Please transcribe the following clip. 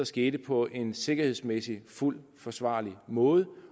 ske på en sikkerhedsmæssig fuldt forsvarlig måde